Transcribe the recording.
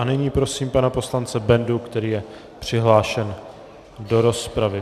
A nyní prosím pana poslance Bendu, který je přihlášen do rozpravy.